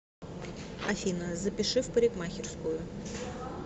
афина запиши в парикмахерскую